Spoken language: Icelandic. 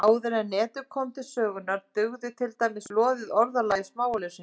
Áður en Netið kom til sögunnar dugði til dæmis loðið orðalag í smáauglýsingum.